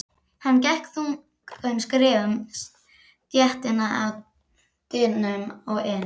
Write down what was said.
Hann gekk þungum skrefum stéttina að dyrunum og inn.